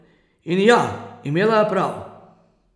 In, ja, imela je prav.